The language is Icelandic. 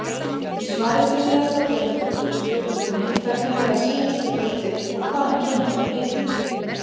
Í svari Þuríðar Þorbjarnardóttur við spurningunni Hvernig verða síamstvíburar til og hvaðan kemur þetta heiti?